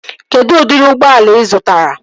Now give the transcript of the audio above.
Kedụ udiri ụgbọala ị zụtara?